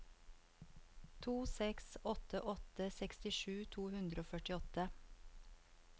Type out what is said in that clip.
to seks åtte åtte sekstisju to hundre og førtiåtte